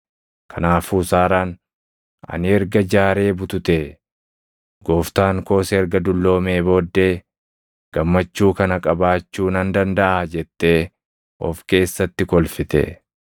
Kanaafuu Saaraan, “Ani erga jaaree bututee, gooftaan koos erga dulloomee booddee, gammachuu kana qabaachuu nan dandaʼaa?” jettee of keessatti kolfite.